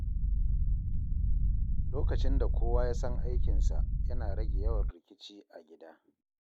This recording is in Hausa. Lokacin da kowa ya san aikinsa, yana rage yawan rikici a gida.